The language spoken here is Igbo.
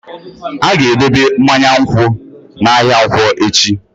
A ga-edobe mmanya nkwụ n'ahịa nkwo echi.